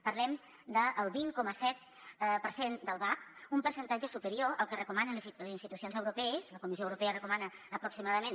parlem del vint coma set per cent del vab un percentatge superior al que recomanen les institucions europees la comissió europea recomana aproximadament